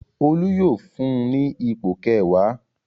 Olú yóò fún ní ipò kẹwàá.